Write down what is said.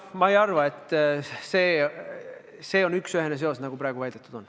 Ma ei arva, et see on pensionireformiga üksüheselt seotud, nagu praegu on väidetud.